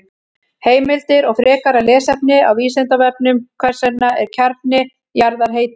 Heimildir og frekara lesefni á Vísindavefnum: Hvers vegna er kjarni jarðar heitur?